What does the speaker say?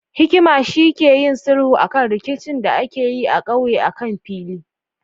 Hakimi shi ke yin sulhu akan rikicin da akeyi a ƙauye akan fili